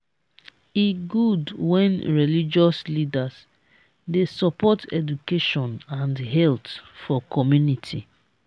e good wen religious leaders dey support education and health for community.